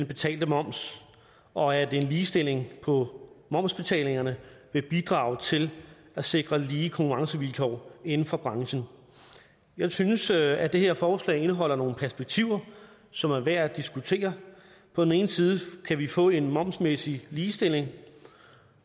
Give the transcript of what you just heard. betalte moms og at en ligestilling på momsbetalingerne vil bidrage til at sikre lige konkurrencevilkår inden for branchen jeg synes at det her forslag indeholder nogle perspektiver som er værd at diskutere på den ene side kan vi få en momsmæssig ligestilling